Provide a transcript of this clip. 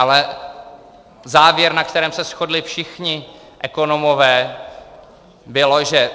Ale závěr, na kterém se shodli všichni ekonomové, byl, že